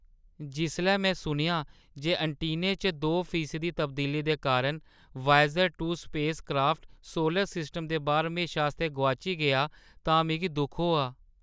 जिसलै में सुनेआ जे ऐंटीने च दो फीसदी तब्दीली दे कारण Voyager two spacecraft solar system दे बाह्‌र हमेशा आस्तै गोआची गेआ तां मिगी दुख होआ।